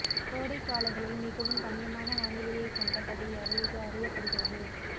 கோடை காலங்களில் மிகவும் ரம்யமான வானிலையை கொண்ட பகுதியாக இது அறியப்படுகிறது